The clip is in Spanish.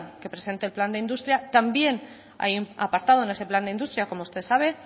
que se presente el plan de industria también hay un apartado en ese plan de industria como usted sabe